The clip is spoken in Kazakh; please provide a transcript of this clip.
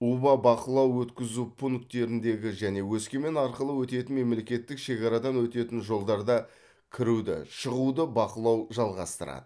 уба бақылау өткізу пункттеріндегі және өскемен арқылы өтетін мемлекеттік шекарадан өтетін жолдарда кіруді шығуды бақылау жалғастырады